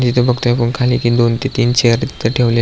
इथ आपण बगतो खाली दोन कि तीन चेअर इथ ठेवले --